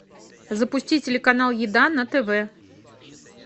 запусти телеканал еда на тв